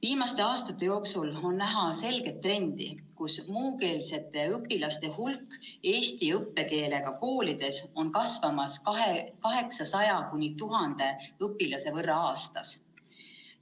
Viimaste aastate jooksul on näha selget trendi, et muukeelsete õpilaste hulk eesti õppekeelega koolides kasvab 800–1000 õpilase võrra aastas.